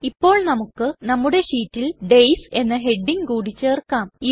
ഇപ്പോൾ നമുക്ക് നമ്മുടെ ഷീറ്റിൽ ഡെയ്സ് എന്ന ഹെഡിംഗ് കൂടി ചേർക്കാം